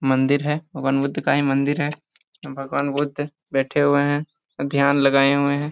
मंदिर है भगवान बुद्ध का मंदिर है भगवान बुद्ध बैठे हुए है ध्यान लगाए हुए है।